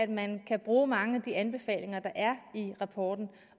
man kan bruge mange af de anbefalinger der er i rapporten